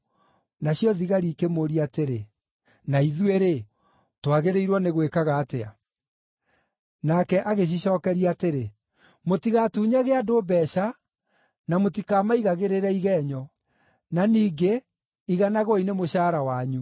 Nacio thigari ikĩmũũria atĩrĩ, “Na ithuĩ-rĩ, twagĩrĩirwo nĩ gwĩkaga atĩa?” Nake agĩcicookeria atĩrĩ, “Mũtigatunyage andũ mbeeca na mũtikamaigagĩrĩre igenyo; na ningĩ iganagwoi nĩ mũcaara wanyu.”